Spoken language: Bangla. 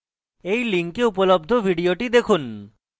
এই link উপলব্ধ video দেখুন